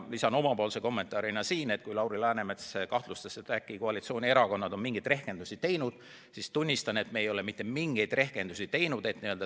Lisan oma kommentaarina veel selle, et Lauri Läänemets kahtlustas, et äkki on koalitsioonierakonnad mingeid rehkendusi teinud – tunnistan, et me ei ole mitte mingeid rehkendusi teinud.